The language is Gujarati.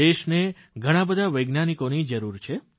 દેશને ઘણાબધા વૈજ્ઞાનિકોની જરૂરિયાત છે